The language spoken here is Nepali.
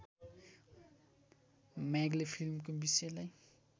म्यागले फिल्मको विषयलाई